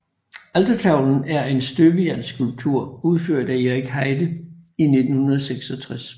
Altertavlen er en støbejernsskulptur udført af Erik Heide i 1966